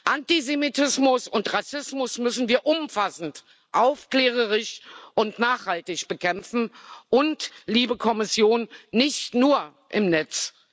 Antisemitismus und Rassismus müssen wir umfassend aufklärerisch und nachhaltig bekämpfen und liebe Kommission nicht nur im Netz.